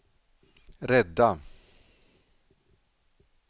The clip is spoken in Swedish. rädda